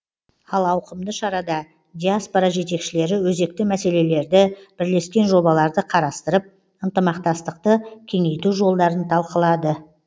ал ауқымды шарада диаспора жетекшілері өзекті мәселелерді бірлескен жобаларды қарастырып ынтымақтастықты кеңейту жолдарын талқылады